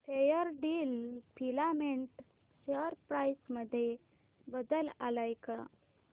Fairdeal filament share price मध्ये बदल आलाय का